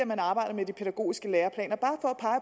man arbejder med de pædagogiske læreplaner bare